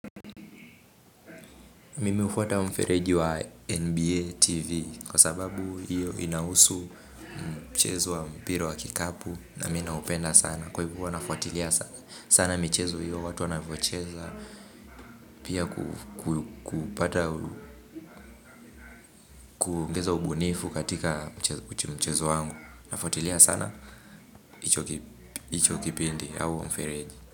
Mimi hufuata mfereji wa NBA TV kwa sababu hiyo inahusu mchezo wa mpira wa kikapu na mimi naupenda sana. Kwa hivyo huwa nafuatilia sana michezo hiyo watu wanvyoicheza pia kupata, kuongeza ubunifu katika mchezo wangu. Nafuatilia sana, hicho kipindi, au mfereji.